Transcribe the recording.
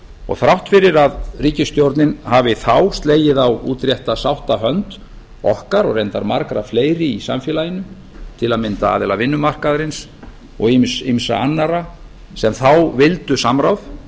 og þrátt fyrir að ríkisstjórnin hafi þá slegið á útrétta sáttarhönd okkar og reyndar margra fleiri í samfélaginu til að mynda aðila vinnumarkaðarins og ýmissa annarra sem þá vildu samráð